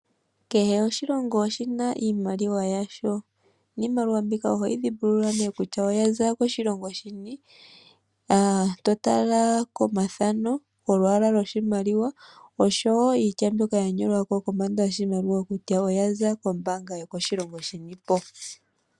Kehe oshilongo oshina iimaliwa yasho niimaliwa mbika ohayi dhimbululwa kutya oyaza koshilongo shini uuna to tala komathano ,olwaala lwoshimaliwa oshowo iitya mbyoka ya nyolwa kombanda yoshimaliwa kutya oya za kombaanga yinipo .